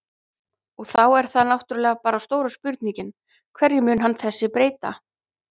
Og þá er það náttúrulega bara stóra spurningin, hverju mun hann þessi breyta?